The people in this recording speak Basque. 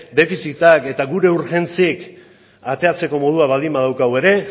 defizitak eta gure urgentziek ateratzeko modua baldin badaukagu ere